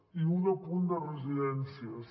i un apunt de residències